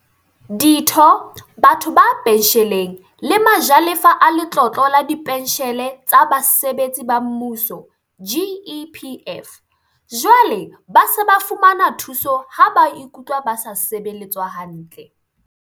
Ditho, batho ba pentjheleng le ma jalefa a Letlole la Dipentjhele tsa Basebetsi ba Mmuso, GEPF, jwale ba se ba fumana thuso ha ba ikutlwa ba sa sebeletswa hantle.